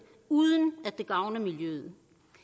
uden at det gavner miljøet